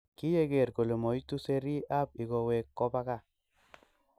Kiyeger kole moituu serii ab lkoiwek kobak kaa